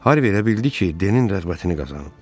Harvi elə bildi ki, Denin rəğbətini qazanıb.